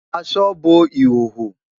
Àṣọ bọ́ ìhòhò.